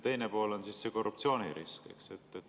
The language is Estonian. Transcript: Teine pool on korruptsioonirisk.